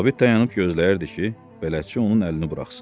Sabit dayanıb gözləyirdi ki, bələdçi onun əlini buraxsın.